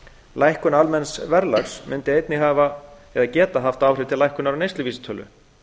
lækkun almenns verðlags mundi einnig geta haft áhrif til lækkunar á neysluvísitölu